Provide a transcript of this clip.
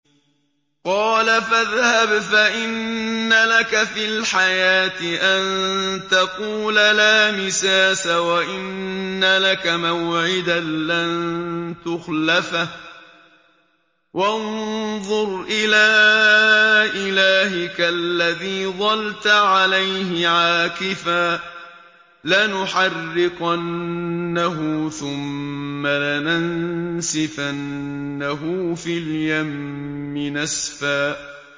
قَالَ فَاذْهَبْ فَإِنَّ لَكَ فِي الْحَيَاةِ أَن تَقُولَ لَا مِسَاسَ ۖ وَإِنَّ لَكَ مَوْعِدًا لَّن تُخْلَفَهُ ۖ وَانظُرْ إِلَىٰ إِلَٰهِكَ الَّذِي ظَلْتَ عَلَيْهِ عَاكِفًا ۖ لَّنُحَرِّقَنَّهُ ثُمَّ لَنَنسِفَنَّهُ فِي الْيَمِّ نَسْفًا